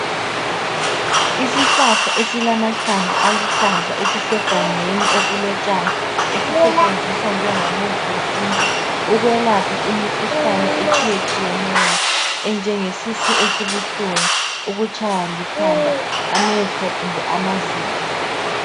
Isihlahla esilamahlamvu aluhlaza esisegangeni okulotshani esisetshenziswa njengomuthi wesiNtu ukwelapha imikhuhlane etshiyetshiyeneyo enjenge sisu esibuhlungu ukutshaywa likhanda amehlo kumbe amazinyo.